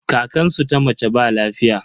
Kankansu ta mace ba lafiya.